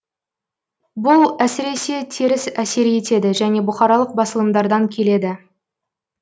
бұл әсіресе теріс әсер етеді және бұқаралық басылымдардан келеді